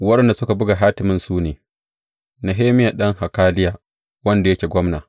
Waɗanda suka buga hatimin su ne, Nehemiya ɗan Hakaliya, wanda yake gwamna.